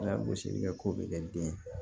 Ala gosili kɛ ko bɛ kɛ den ye